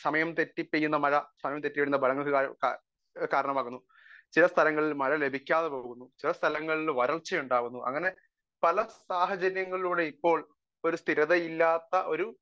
Speaker 1 സമയം തെറ്റി പെയ്യുന്ന മഴ കാരണമാകുന്നു . ചില സ്ഥലങ്ങളിൽ മഴ ലഭിക്കാതെ പോകുന്നു . ചില സ്ഥലങ്ങളിൽ വരൾച്ച ഉണ്ടാകുന്നു അങ്ങനെ പല സാഹചര്യങ്ങളിലൂടെ ഇപ്പോൾ സ്ഥിരതയുള്ള ഒരു